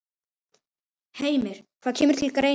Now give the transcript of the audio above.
Heimir: Það kemur til greina?